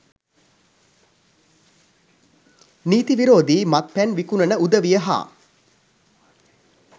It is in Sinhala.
නීති විරෝධී මත්පැන් විකුණන උදවිය හා